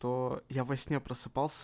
то я во сне просыпался